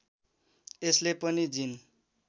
यसले पनि जिन